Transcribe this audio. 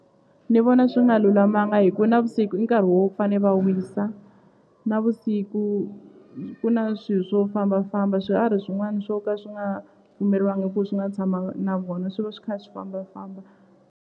Ni vona swi nga lulamanga hi ku navusiku i nkarhi wo fane va wisa navusiku ku na swi swo fambafamba swiharhi swin'wani swo ka swi nga pfumeliwanga ku swi nga tshama na vona swi va swi kha swi fambafamba.